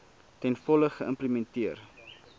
ten volle geïmplementeer